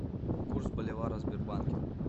курс боливара в сбербанке